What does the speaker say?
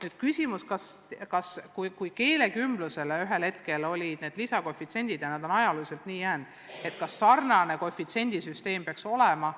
Oli küsimus, et kui keelekümbluse puhul ühel hetkel kehtestati need lisakoefitsiendid ja need on nii jäänud, siis kas sarnane koefitsiendisüsteem peaks laiemalt kehtima.